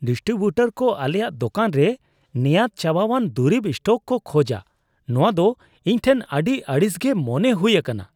Distributor ᱠᱚ ᱟᱞᱮᱭᱟᱜ ᱫᱳᱠᱟᱱ ᱨᱮ ᱱᱮᱭᱟᱫ ᱪᱟᱵᱟᱣᱟᱱ ᱫᱩᱨᱤᱵ ᱥᱴᱚᱠ ᱠᱚ ᱠᱷᱚᱡᱟ ᱱᱚᱶᱟ ᱫᱚ ᱤᱧᱴᱷᱮᱱ ᱟᱹᱰᱤ ᱟᱹᱲᱤᱥᱜᱮ ᱢᱚᱱᱮ ᱦᱩᱭ ᱟᱠᱟᱱᱟ ᱾